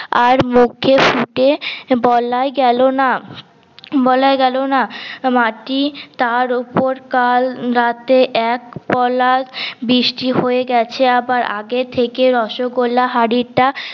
আর মুখে সুটে বলাই গেলো না বলাই গেলো না মাটি তার উপর কাল রাতে এক পলা বৃষ্টি হয়ে গেছে আবার আগে থেকে রসগোল্লা হাড়টা